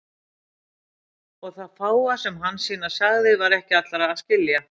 Og það fáa sem Hansína sagði var ekki allra að skilja.